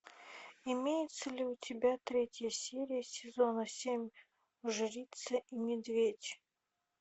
имеется ли у тебя третья серия сезона семь жрица и медведь